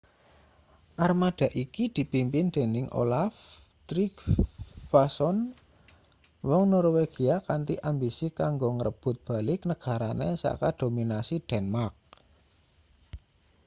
armada iki dipimpin dening olaf trygvasson wong norwegia kanthi ambisi kanggo ngrebut balik negarane saka dominasi denmark